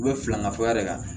U bɛ filanan fɔya de ka